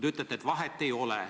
Te ütlete, et vahet ei ole.